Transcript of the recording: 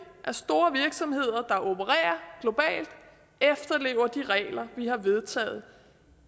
at store virksomheder der opererer globalt efterlever de regler vi har vedtaget